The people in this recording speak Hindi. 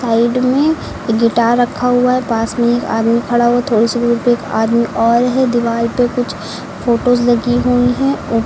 साइड में एक गिटार रखा हुआ है पास में एक आदमी खड़ा हो थोड़ी सी दूरी पे एक आदमी और है दीवार पे कुछ फोटोस लगी हुई हैं और--